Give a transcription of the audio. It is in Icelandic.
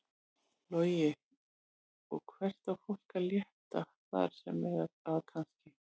Logi: Og hvert á fólk að leita þar sem að kannski?